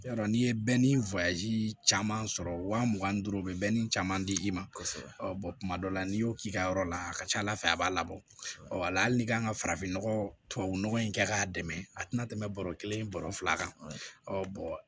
Yarɔ n'i ye caman sɔrɔ waa mugan ni duuru bɛ caman di i ma kosɛbɛ kuma dɔ la n'i y'o k'i ka yɔrɔ la a ka ca ala fɛ a b'a labɔ walahi n'i kan ka farafinnɔgɔ in kɛ k'a dɛmɛ a tɛna tɛmɛ bɔrɔ kelen bɔrɔ fila kan